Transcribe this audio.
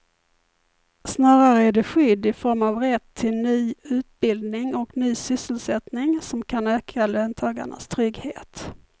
Snarare är det skydd i form av rätt till ny utbildning och ny sysselsättning som kan öka löntagarnas trygghet.